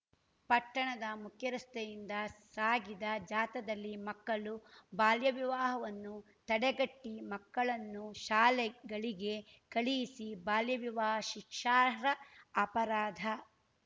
ಪಟ್ಟಣದ ಮುಖ್ಯ ರಸ್ತೆಯಿಂದ ಸಾಗಿದ ಜಾಥಾದಲ್ಲಿ ಮಕ್ಕಳು ಬಾಲ್ಯವಿವಾಹವನ್ನು ತಡೆಗಟ್ಟಿಮಕ್ಕಳನ್ನು ಶಾಲೆಗಳಿಗೆ ಕಳಿಸಿ ಬಾಲ್ಯವಿವಾಹ ಶಿಕ್ಷಾರ್ಹ ಅಪರಾಧ